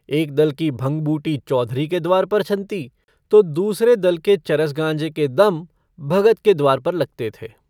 एक दल की भंग-बूटी चौधरी के द्वार पर छनती तो दूसरे दल के चरस-गाँजे के दम भगत के द्वार पर लगते थे।